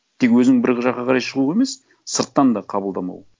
тек өзің бір жаққа қарай шығу емес сырттан да қабылдамау